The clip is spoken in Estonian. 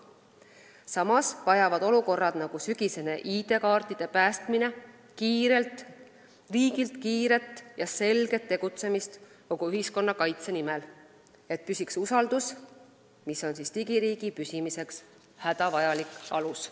Samas vajavad teatud olukorrad, nagu sügisene ID-kaartide päästmine, riigilt kiiret ja selget tegutsemist kogu ühiskonna kaitse nimel, et püsiks usaldus, mis on digiriigi püsimiseks hädavajalik alus.